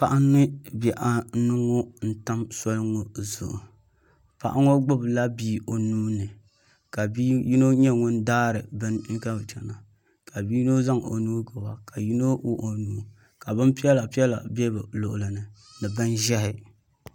Paɣa ni bihi anu n tam soli ŋɔ zuɣu paɣa ŋɔ gbubi la bia o nuu ni ka bia yino nyɛ ŋun daari bini ka bi chana ka bia yino zaŋ o nuu gbuba ka yino wuɣi o nuu ka bin piɛla piɛla bɛ bi luɣuli ni ni bin ʒiɛhi.